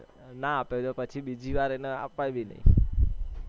ના આપે તો પછી બીજી વાર એને આપાય બી નહી.